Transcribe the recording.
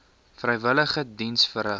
vrywillige diens verrig